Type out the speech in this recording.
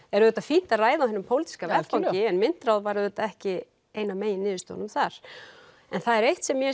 er auðvitað fínt að ræða á hinum pólitíska vettvangi en myntráð var auðvitað ekki ein af megin niðurstöðunum þar en það er eitt sem mér